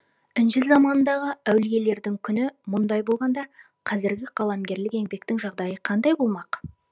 інжіл заманындағы әулиелердің күні мұндай болғанда қазіргі қаламгерлік еңбектің жағдайы қандай болмақ